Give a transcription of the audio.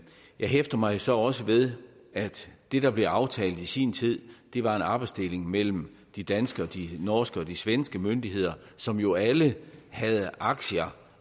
hæfter mig så også ved at det der blev aftalt i sin tid var en arbejdsdeling mellem de danske de norske og de svenske myndigheder som jo alle havde aktier